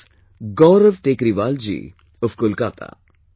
This is Gaurav Tekriwal ji of Kolkata